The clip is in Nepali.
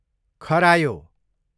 खरायो